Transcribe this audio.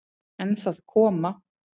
En það koma